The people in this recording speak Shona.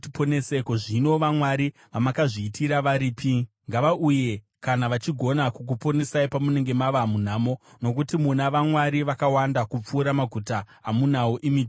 Ko, zvino vamwari vamakazviitira varipi? Ngavauye kana vachigona kukuponesai pamunenge mava munhamo! Nokuti muna vamwari vakawanda kupfuura maguta amunawo, imi Judha.